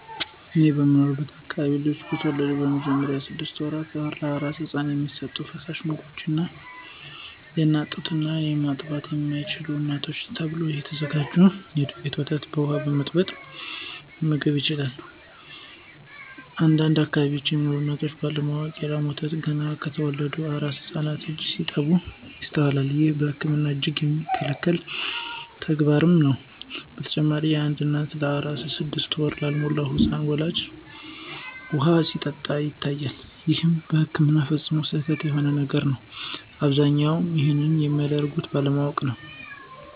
እኔ በምኖርበት አከባቢ ልጆች በተወለዱ በመጀመሪያዎቹ ስድሰት ወራት ለአራስ ህፃን የሚሰጡ ፈሳሽ ምግቦች የአናት ጡት እና ማጥባት ለማይችሉ እናቶች ተብሎ ከተዘጋጀ የዱቄት ወተት በውሃ በመበጥበጥ መመገብ ይችላሉ። አንዳንድ አከባቢ ሚኖሩ እናቶች ባለ ማወቅ የ ላም ወተት ገና ለተወለደ አራስ ህፃን ልጅ ሲሰጡ ይስተዋላል። ይህም በህክምና እጅግ የሚከለከል ተግባርም ነው። በተጨማሪም አንዳንድ እናቶች ለአራስ ስድስት ወር ላልሞላው ህፃን ልጃቸው ውሃ ሲሰጡ ይታያል ይህም በህክምና ፈፅሞ ስህተት የሆነ ነገር ነው። አብዛኞቹም ይንንም የሚያደርጉት ባለማወቅ ነው።